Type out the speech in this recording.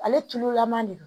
Ale tululama de don